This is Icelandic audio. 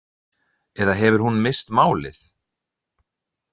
Eða hefur hún misst málið?